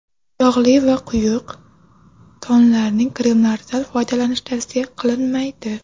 Yog‘li va quyuq tonal kremlardan foydalanish tavsiya qilinmaydi.